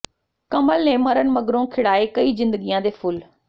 ਕਮਲ ਨੇ ਮਰਨ ਮਗਰੋਂ ਖਿੜਾਏ ਕਈ ਜ਼ਿੰਦਗੀਆਂ ਦੇ ਫੁੱਲ